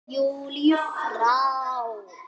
Júlíu frá.